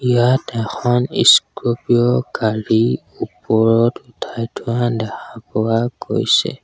ইয়াত এখন স্ক্ৰপিঅ' গাড়ী ওপৰত উঠাই থোৱা দেখা পোৱা গৈছে।